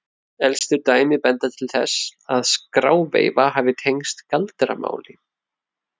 elstu dæmi benda til þess að skráveifa hafi tengst galdramáli